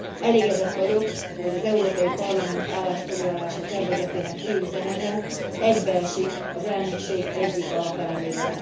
Elégedett vagyok, hogy az Európai Parlament állásfoglalása tervezetének fő üzenete egybeesik az elnökség egyik alapelvével.